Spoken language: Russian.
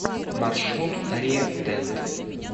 маршрут риа дент